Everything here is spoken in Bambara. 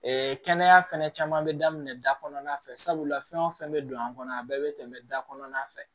kɛnɛya fɛnɛ caman bɛ daminɛ da kɔnɔna fɛ sabula fɛn o fɛn bɛ don a kɔnɔ a bɛɛ bɛ tɛmɛ da kɔnɔna fɛ